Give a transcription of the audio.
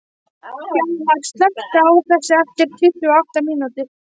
Hjalmar, slökktu á þessu eftir tuttugu og átta mínútur.